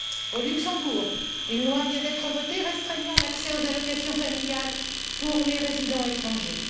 Au Luxembourg, une loi vient d'être votée restreignant l'accès aux allocations familiales pour les résidents étrangers.